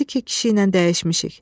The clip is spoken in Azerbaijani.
Dedi ki, kişi ilə dəyişmişik.